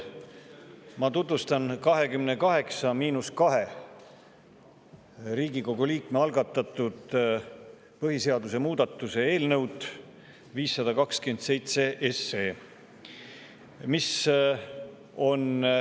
Ma tutvustan 28 miinus 2 Riigikogu liikme algatatud põhiseaduse muutmise eelnõu 527.